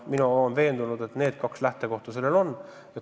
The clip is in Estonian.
Mina olen veendunud, et need kaks eeldust sellel on.